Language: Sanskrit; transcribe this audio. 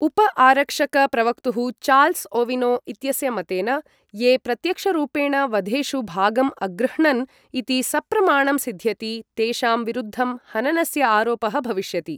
उप आरक्षक प्रवक्तुः चार्ल्स ओविनो इत्यस्य मतेन, ये प्रत्यक्षरूपेण वधेषु भागम् अगृह्णन् इति सप्रमाणं सिध्यति तेषां विरुद्धं हननस्य आरोपः भविष्यति।